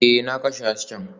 Ee, na kashe hasken